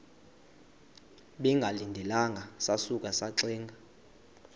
bengalindelanga sasuka saxinga